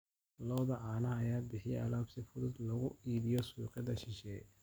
Lo'da caanaha ayaa bixiya alaab si fudud loogu iibiyo suuqyada shisheeye.